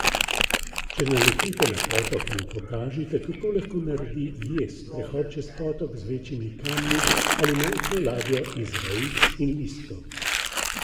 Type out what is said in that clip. Če naletite na potok, mu pokažite, kako lahko naredi jez, prehod čez potok z večjimi kamni ali majhno ladjo iz vejic in listov.